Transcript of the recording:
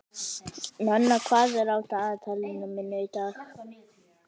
Nenna, hvað er á dagatalinu mínu í dag?